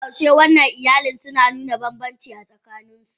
Koda yaushe wancan iyalin suna nuna banbanci a tsakanin su.